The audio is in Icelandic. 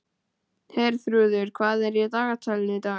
Herþrúður, hvað er í dagatalinu í dag?